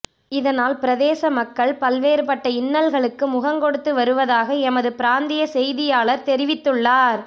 இதனால் பிரதேச மக்கள் பல்வேறுப்பட்ட இன்னல்களுக்கு முகங்கொடுத்து வருவதாக எமது பிராந்திய செய்தியாளர் தெரிவித்துள்ளார்